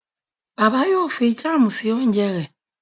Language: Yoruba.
Bàbá yíò fí Jam sí oúnjẹ rè.